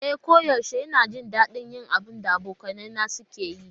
E koyaushe ina jin daɗin yin abin da abokaina suke yi.